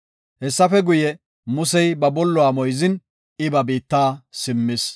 Hessafe guye, Musey ba bolluwa moyzin, I ba biitta simmis.